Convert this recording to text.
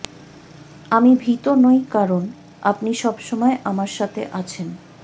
আমি ভীত নই কারণ আপনি সবসময় আমার সাথে আছেন